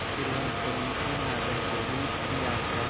तिरुवनंतपुरम से नागरकोविल की यात्रा